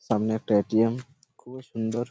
সামনে একটা এ.টি.এম খুব ই সুন্দর।